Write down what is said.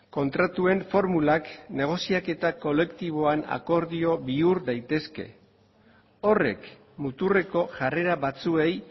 kontratuen formulak negoziaketa kolektiboan akordio bihur daitezke horrek muturreko jarrera batzuei